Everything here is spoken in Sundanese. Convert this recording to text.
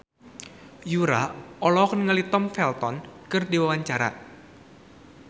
Yura olohok ningali Tom Felton keur diwawancara